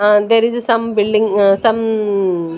um there is some building some --